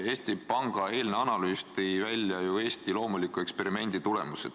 Eesti Panga eilne analüüs tõi välja ju Eesti loomuliku eksperimendi tulemused.